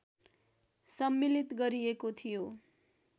सम्मिलित गरिएको थियो